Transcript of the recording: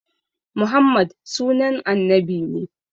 Muhammad sunan annabi ne